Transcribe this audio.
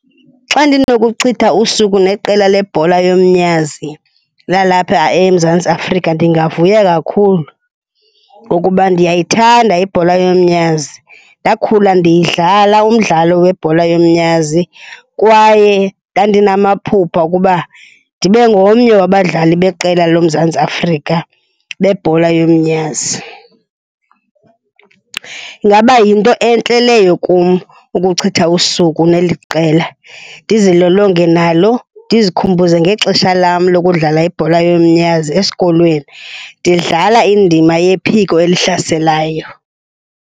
Xa ndinokuchitha usuku neqela lebhola yomnyazi lalapha eMzantsi Afrika ndingavuya kakhulu ngokuba ndiyayithanda ibhola yomnyazi. Ndakhula ndiyidlala umdlalo webhola yomnyazi kwaye ndandinamaphupha okuba ndibe ngomnye wabadlali beqela loMzantsi Afrika bebhola yomnyazi. Ingaba yinto entle leyo kum ukuchitha usuku neli qela, ndizilolonge nalo, ndizikhumbuze ngexesha lam lokudlala ibhola yomnyazi esikolweni, ndidlala indima yephiko elihlaselayo.